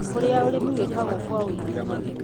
kũrĩa ũrĩmi wĩkagwo kwa wĩingĩ.